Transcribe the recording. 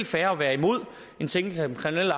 fair at være imod en sænkelse af den kriminelle